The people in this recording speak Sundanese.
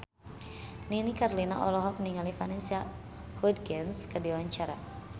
Nini Carlina olohok ningali Vanessa Hudgens keur diwawancara